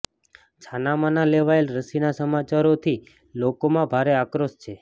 છાના માના લેવાયેલ રસીના સમાચારોથી લોકોમાં ભારે આક્રોશ છે